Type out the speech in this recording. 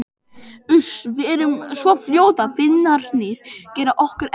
Uss, við verðum svo fljótar, Finnarnir gera okkur ekkert.